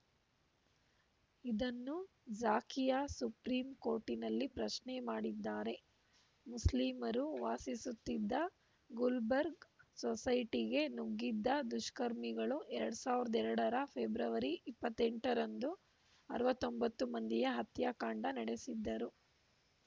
ಇದನ್ನು ಝಾಕಿಯಾ ಸುಪ್ರೀಂಕೋರ್ಟಿನಲ್ಲಿ ಪ್ರಶ್ನೆ ಮಾಡಿದ್ದಾರೆ ಮುಸ್ಲಿಮರು ವಾಸಿಸುತ್ತಿದ್ದ ಗುಲ್ಬರ್ಗ್‌ ಸೊಸೈಟಿಗೆ ನುಗ್ಗಿದ್ದ ದುಷ್ಕರ್ಮಿಗಳು ಎರಡ್ ಸಾವಿರದ ಎರಡರ ಫೆಬ್ರವರಿ ಇಪ್ಪತ್ತೆಂಟರಂದು ಅರವತ್ತೊಂಬತ್ತು ಮಂದಿಯ ಹತ್ಯಾಕಾಂಡ ನಡೆಸಿದ್ದರು